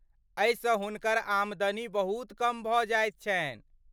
एहिसँ हुनकर आमदनी बहुत कम भऽ जाइत छनि।